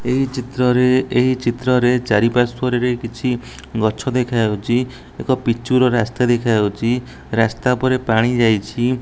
ଏହି ଚିତ୍ରରେ ଏହି ଚିତ୍ରରେ ଚାରି ପାର୍ଶ୍ୱରେ କିଛି ଗଛ ଦେଖାଯାଉଚି ଏକ ପିଚୁ ର ରାସ୍ତା ଦେଖାଯାଉଚି ରାସ୍ତା ଉପରେ ପାଣି ଯାଇଚି।